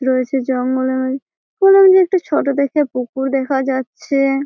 রয়েছে একটা জঙ্গলের তার মধ্যে একটা ছোট দেখে পুকুর দেখা যাচ্ছেএ ।